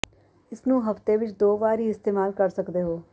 ਇਸ ਨੂੰ ਹਫ਼ਤੇ ਵਿੱਚ ਦੋ ਵਾਰ ਵੀ ਇਸਤੇਮਾਲ ਕਰ ਸਕਦੇ ਹੋ